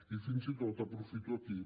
i fins i tot aprofito aquí